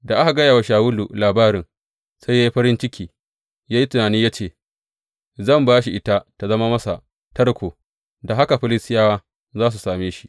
Da aka gaya wa Shawulu labarin, sai ya yi farin ciki, ya yi tunani ya ce, Zan ba shi ita tă zama masa tarko, da haka Filistiyawa za su same shi.